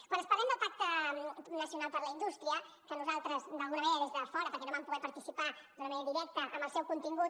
quan parlem del pacte nacional per la indústria que nosaltres d’alguna manera des de fora perquè no vam poder participar d’una manera directa en el seu contingut